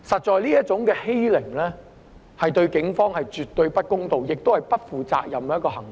這種欺凌實在對警方絕對不公道，也是不負責任的行為。